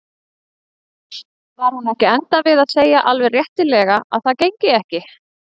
Var hún ekki að enda við að segja alveg réttilega að það gengi ekki?